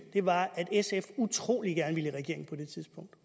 var at sf utrolig gerne ville i regering på det tidspunkt og